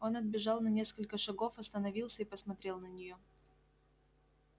он отбежал на несколько шагов остановился и посмотрел на неё